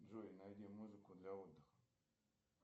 джой найди музыку для отдыха